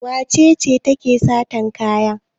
Wace ce take satan kaya?